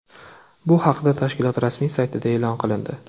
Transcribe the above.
Bu haqda tashkilot rasmiy saytida e’lon qilindi .